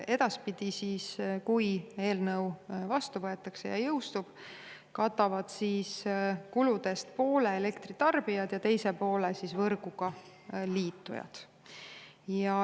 Edaspidi, kui eelnõu vastu võetakse ja see jõustub, katavad poole kuludest elektritarbijad ja teise poole võrguga liitujad.